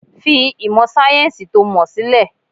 Fi ìmọ̀ sayẹ́nsi to mọ sílẹ̀!